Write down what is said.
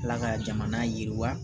Ala ka jamana yiriwa